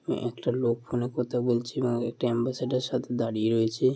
আ-একটা লোক ফোন -এ কথা বলছে এবং একটি এম্বাসেডার সাথে দাঁড়িয়ে রয়েছে।